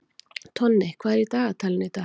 Tonni, hvað er í dagatalinu í dag?